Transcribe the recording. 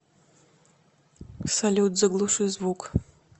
салют заглуши звук